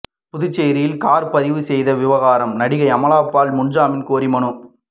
புதுச்சேரியில் கார் பதிவு செய்த விவகாரம் நடிகை அமலா பால் முன்ஜாமீன் கோரி மனு